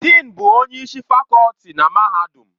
Dịịn bụ onye isi fakọlti na mahadum.